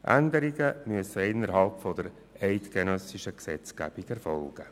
Änderungen müssen innerhalb der eidgenössischen Gesetzgebung erfolgen.